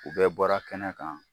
U bɛɛ bɔra kɛnɛ kan.